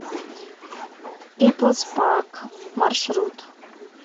пиплс парк маршрут